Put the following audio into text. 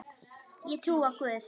Ég trúi á Guð!